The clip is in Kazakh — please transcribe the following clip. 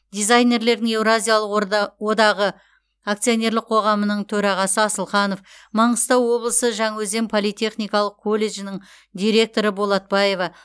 дизайнерлердің еуразиялық одағы акционерлік қоғамының төрағасы асылханов маңғыстау облысы жаңаөзен политехникалық колледжінің директоры болатбаева